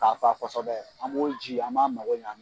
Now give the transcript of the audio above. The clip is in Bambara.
K'a fa kosɛbɛ an m'o ji an m'a mago ɲa